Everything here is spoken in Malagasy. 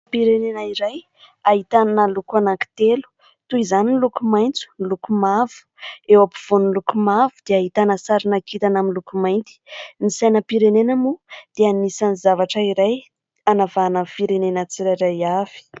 Sainam-pirenena iray ahitana loko anankitelo toy izany ny loko maintso, ny lokomavo. Eo ampivoan'ny lokomavo dia ahitana sarina kintana amin'ny loko mainty. Ny sainam-pirenena moa dia anisan'ny zavatra iray hanavahana ny firenena tsirairay avy.